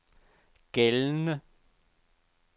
gældende